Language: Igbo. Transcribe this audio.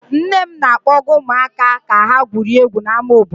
Nne m na-akpọga ụmụaka ka ha gwurie egwu n'ámá obodo.